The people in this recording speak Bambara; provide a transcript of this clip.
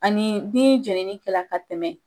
Ani ni jenini kɛra ka tɛmɛ.